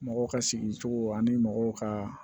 Mɔgɔw ka sigi cogo ani mɔgɔw ka